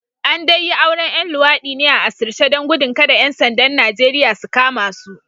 An dai yi auren ‘yan luwadi ne a asirce don gudun kada ‘yan sandan Najeriya su kama su